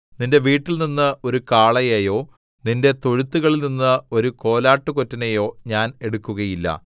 നിന്റെ വീട്ടിൽനിന്ന് ഒരു കാളയെയോ നിന്റെ തൊഴുത്തുകളിൽനിന്ന് ഒരു കോലാട്ടുകൊറ്റനെയോ ഞാൻ എടുക്കുകയില്ല